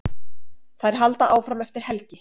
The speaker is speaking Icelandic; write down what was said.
Þær halda áfram eftir helgi.